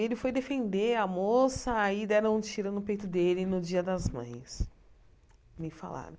Ele foi defender a moça, aí deram um tiro no peito dele no Dia das Mães, me falaram.